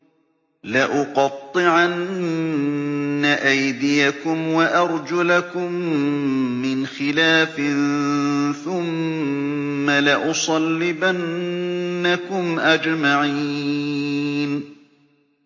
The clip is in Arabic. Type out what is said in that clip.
لَأُقَطِّعَنَّ أَيْدِيَكُمْ وَأَرْجُلَكُم مِّنْ خِلَافٍ ثُمَّ لَأُصَلِّبَنَّكُمْ أَجْمَعِينَ